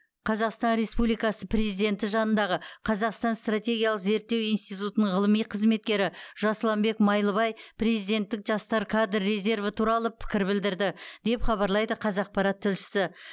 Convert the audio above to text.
қазақстан республикасы президенті жанындағы қазақстан стратегиялық зерттеу институтының ғылыми қызметкері жасұланбек майлыбай президенттік жастар кадр резерві туралы пікір білдірді деп хабарлайды қазақпарат тілшісі